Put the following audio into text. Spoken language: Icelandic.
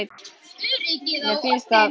Mér bara finnst það.